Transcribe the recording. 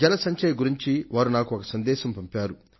జల సంరక్షణను గురించి ఆయన నాకొక సందేశాన్ని ఇచ్చారు